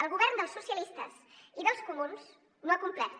el govern dels socialistes i dels comuns no ha complert